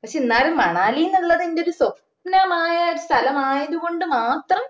പക്ഷെ എന്നാലും മണാലിന്ന് ഉള്ളത് എന്റെ ഒരു സ്വപ്നമായ സ്ഥലം ആയത് കൊണ്ട് മാത്രം